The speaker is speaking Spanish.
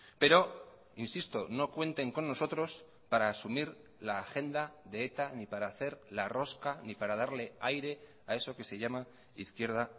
pero insisto no cuenten con nosotros para asumir la agenda de eta ni para hacer la rosca ni para darle aire a eso que se llama izquierda